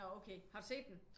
Nå okay har du set dem?